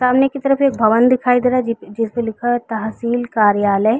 सामने की तरफ एक भवन दिखाई दे रहा है जी जिसमे लिखा है तहसील कार्यालय।